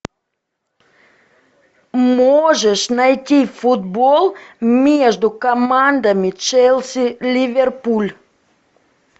можешь найти футбол между командами челси ливерпуль